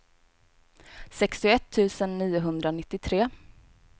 sextioett tusen niohundranittiotre